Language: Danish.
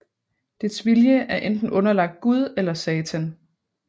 Dets vilje er enten underlagt Gud eller Satan